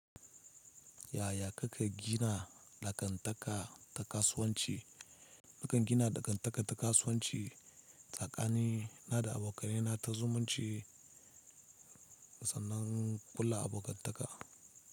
Yaya kake gina dagantaka ta kasuwanci? Nakan gina dangantaka ta kasuwanci tsakanina da abokanaina ta zumunci sannan ƙulla abokantaka.